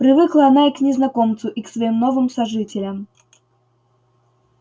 привыкла она и к незнакомцу и к своим новым сожителям